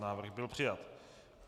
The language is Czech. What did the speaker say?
Návrh byl přijat.